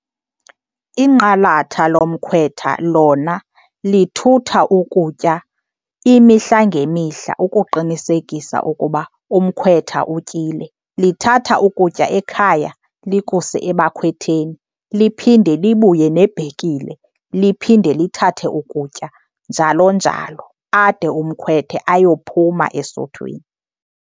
Inqalatha lomkhwetha lona lithutha ukutya imihla ngemihla ukuqinisekisa ukuba umkhwetha utyile. Lithatha ukutya ekhaya likuse abakhwetheni, liphinde libuye nebhekile liphinde lithathe ukutya njalo njalo ade umkhethwe ayophuma esuthwini.